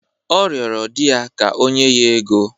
Ọ rịọrọ di ya ka o nye ya ego.